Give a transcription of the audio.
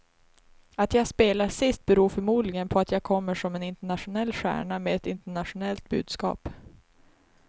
Att jag spelar sist beror förmodligen på att jag kommer som en internationell stjärna med ett internationellt budskap.